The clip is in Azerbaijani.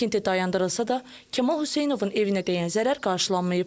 Tikinti dayandırılsa da, Kamal Hüseynovun evinə dəyən zərər qarşılanmayıb.